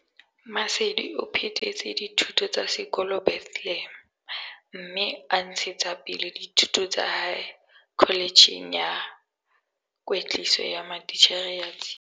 Maseli o phetetse dithuto tsa sekolo Bethlehem, mme a ntshetsa pele dithuto tsa hae Kholetjheng ya Kwetliso ya Matitjhere ya Tshiya.